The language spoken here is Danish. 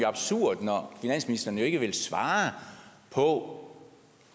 absurd når finansministeren ikke vil svare på